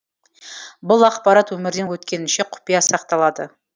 бұл ақпарат өмірден өткенінше құпия сақталады